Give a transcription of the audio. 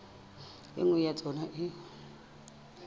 e nngwe ya tsona e